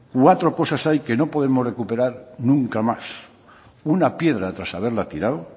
cuatro cosas hay que no podemos recuperar nunca más una piedra tras haberla tirado